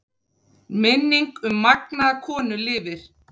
Minning um magnaða konu lifir.